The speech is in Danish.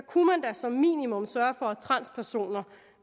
kunne man da som minimum sørge for at transpersoner